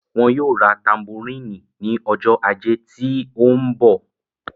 wọn yóò ra tamboríìnì ní ọjọ́ ajé tí ó ń bọ̀.